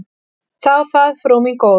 Þá það, frú mín góð.